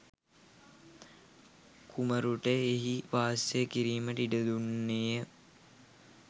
කුමරුට එහි වාසය කිරීමට ඉඩ දුන්නේය.